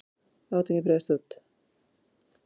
Átökin breiðast nú út.